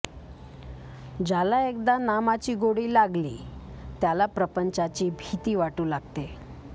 ज्याला एकदा नामाची गोडी लागली त्याला प्रपंचाची भीती वाटू लागते